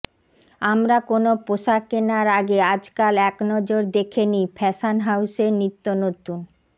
আমরা কোনো পোশাক কেনার আগে আজকাল একনজর দেখে নিই ফ্যাশন হাউসের নিত্য নতুন